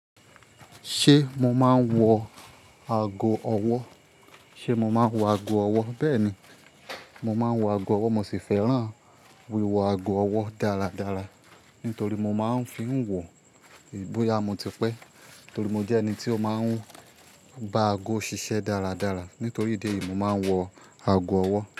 Ṣé mo máa ń wọ ago ọwọ́? Ṣé mo máa ń wọ ago ọwọ́? Bẹ́ẹ̀ ni, mo máa ń wọ ago ọwọ́ mo sì fẹ́ràn wíwọ ago ọwọ́ dáradára nítorí mo máa ń fi n wọ bóyá motipé. Nítorí mo jẹ́ ẹni tí ó máa ń bá ago ṣiṣẹ́ dáradára. Nítorí ìdí èyí, mo máa ń wọ ago ọwọ́